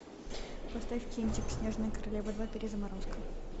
поставь кинчик снежная королева два перезаморозка